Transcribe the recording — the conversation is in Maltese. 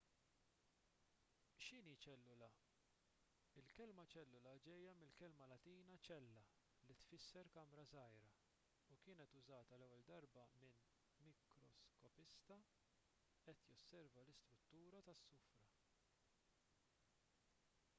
x'inhi ċellula il-kelma ċellula ġejja mill-kelma latina cella li tfisser kamra żgħira u kienet użata l-ewwel darba minn mikroskopista qed josserva l-istruttura tas-sufra